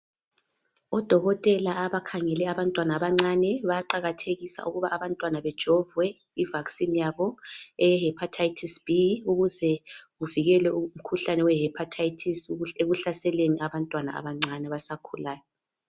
Odokotela abakhangala abantwana abancane bayaqakathekise ukuba abantwana bajovwe I vaccine yabo eye hepatitis B ukuze kuvikelwe umkhuhlane we hepatitis ekuhlaseleni abantwana abancane abasakhulayo